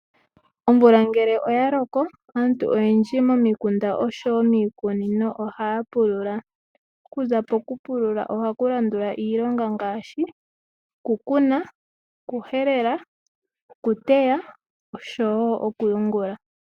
Omvula ngele oya loko aantu oyendji momikunda oshowo miikunino oha ya pulula, okuza poku pulula ohaku landula iilonga ngaashi okukuna, okuhelela, okuteya oshowo okuyungula